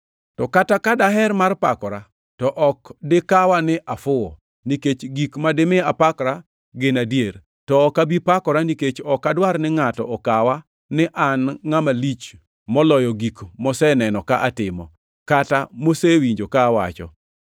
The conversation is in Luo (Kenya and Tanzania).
To kata ka daher mar pakora, to ok dikawa ni afuwo, nikech gik ma dimi apakra gin adier. To ok abi pakora, nikech ok adwar ni ngʼato okawa ni an ngʼama lich moloyo gik moseneno ka atimo, kata mosewinjo ka awacho.